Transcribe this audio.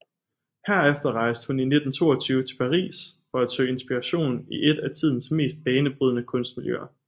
Herefter rejste hun i 1922 til Paris for at søge inspiration i eet af tidens mest banebrydende kunstmiljøer